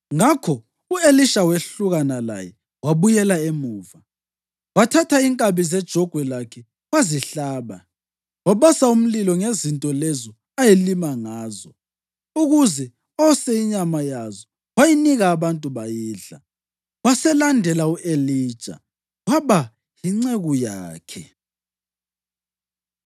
Ngakho u-Elisha wehlukana laye wabuyela emuva. Wathatha inkabi zejogwe lakhe wazihlaba. Wabasa umlilo ngezinto lezo ayelima ngazo ukuze ose inyama yazo wayinika abantu bayidla. Waselandela u-Elija waba yinceku yakhe.